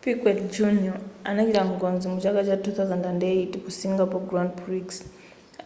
piquet jr anachita ngozi muchaka cha 2008 ku singapore grand prix